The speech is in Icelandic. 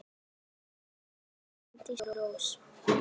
Þín frænka, Bryndís Rós.